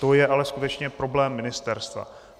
To je ale skutečně problém ministerstva.